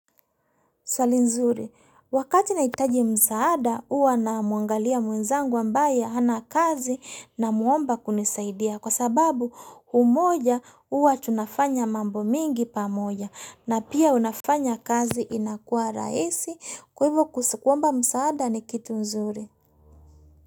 Swali nzuri, wakati nahitaji msaada huwa namwangalia mwenzangu ambaye hana kazi namuomba kunisaidia kwa sababu umoja huwa tunafanya mambo mingi pamoja na pia unafanya kazi inakua rahisi kwa hivyo kuomba msaada ni kitu mzuri.